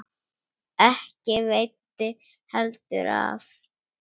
Ekki veitti heldur af.